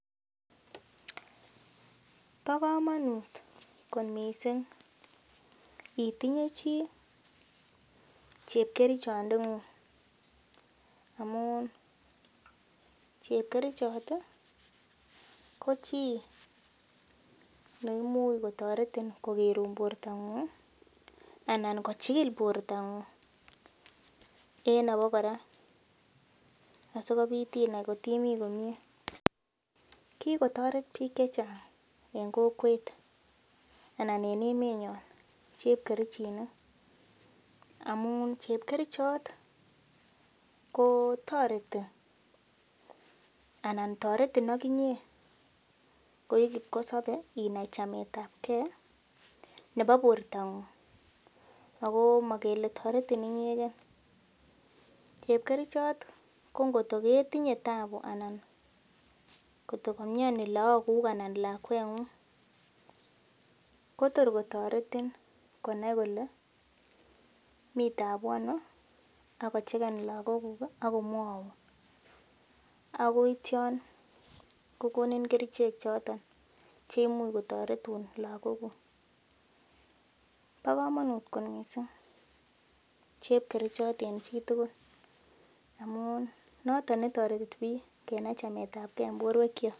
Bokomonut kot missing itinye chii chepkerchonde ng'ung' amun chepkerchot ko chii neimuch kotoretin kogerun borto ng'ung' anan kochil borto ng'ung' en nebo kora asikobit inai atkimi komie kikotoret biik che chang eng kokwet anan en emet nyo chepkerchinik amun chepkerchot ko toreti anan toretin akinye ko ii kipkosopei inai chamet ap kee nebo borto ng'ung' ako ma kele toretin inyegee chepkerchot ko ngotkoketinye taabu anan kotkokaimyoni laakuk anan lakwengung Kotor kotoretin konai kole mii tabu ano akocheken lakok kuk akomwoun akoit yon kokonin kerchek choton cheimuch kotoretun lakok kuk bo komonut kot mising chepkerchot eng chitugul amun noton netoretibiik kenai chamet ab kee eng borwek cho.